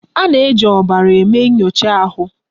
A na-eji ọbara eme nyocha ahụ.